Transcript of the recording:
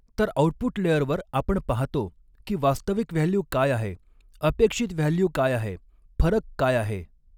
तर ऑउटपुट लेयरवर आपण पाहतो की वास्तविक व्हॅल्यू काय आहे अपेक्षित व्हॅल्यू काय आहे फरक काय आहे.